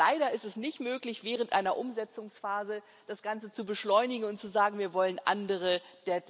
Leider ist es nicht möglich, während einer Umsetzungsphase das Ganze zu beschleunigen und zu sagen Wir wollen andere deadlines